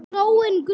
gróin grund!